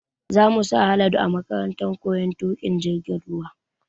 Za mu sa Haladu a makarantar koyon tuƙin jirgin ruwa